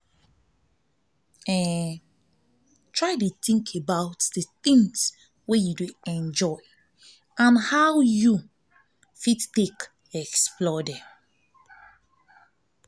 think about di things wey you dey enjoy and how how you fit take explore them